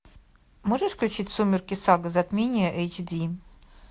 можешь включить сумерки сага затмение эйч ди